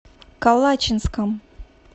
калачинском